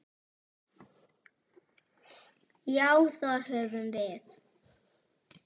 Já, það höfum við.